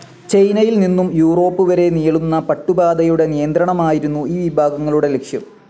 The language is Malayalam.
ചൈനയിൽ നിന്നും യുറോപ്പ് വരെ നീളുന്ന പട്ടുപാതയുടെ നിയന്ത്രണമായിരുന്നു ഈ വിഭാഗങ്ങളുടെ ലക്ഷ്യം.